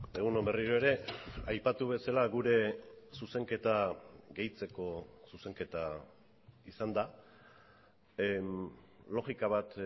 egun on berriro ere aipatu bezala gure zuzenketa gehitzeko zuzenketa izan da logika bat